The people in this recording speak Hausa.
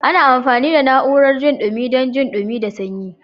Ana amfani da na'urar jin dumi dan jin dumi da sanyi.